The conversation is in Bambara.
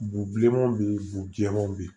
Bubilenmanw bɛ yen bu jɛmanw bɛ yen